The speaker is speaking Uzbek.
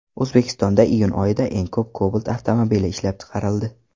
O‘zbekistonda iyun oyida eng ko‘p Cobalt avtomobili ishlab chiqarildi.